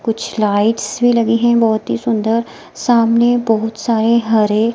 कुछ लाइट्स भी लगी हैं बहोत ही सुंदर सामने बहुत सारे हरे--